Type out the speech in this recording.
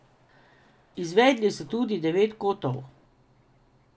Izvedli so tudi devet kotov.